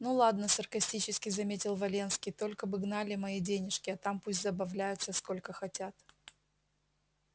ну ладно саркастически заметил валенский только бы гнали мои денежки а там пусть забавляются сколько хотят